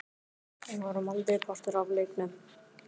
Við vorum aldrei partur af leiknum.